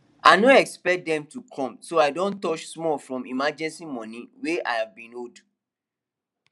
i no expect dem to come so i don touch small from emergency money way i been hold